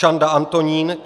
Čanda Antonín